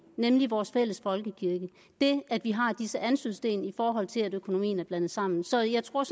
nemlig vores fælles folkekirke det at vi har disse anstødssten i forhold til at økonomien er blandet sammen så jeg tror